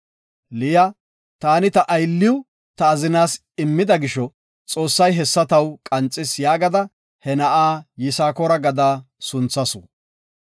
Liya, “Taani ta aylliw ta azinas immida gisho, Xoossay hessa taw qanxis” yaagada he na7a Yisakoora gada sunthasu.